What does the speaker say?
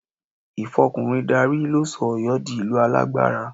Ìfọkùnrin darí ló sọ Ọ̀yọ́ di ìlú alágbára